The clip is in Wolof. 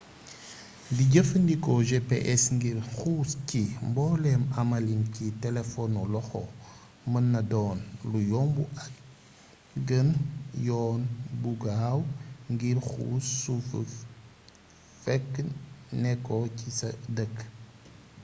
di jefandikko gps ngir xuus ci mboolem amalin ci telefonu loxo mënna don lu yombu ak gene yoon bu gaaw ngir xuus sufu fekke nekko ci sa dëkk